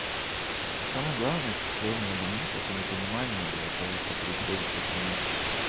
самое главное это чего меня бомбит это непонимание блядь того что происходит в этом мире